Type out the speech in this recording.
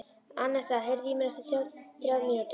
Annetta, heyrðu í mér eftir þrjár mínútur.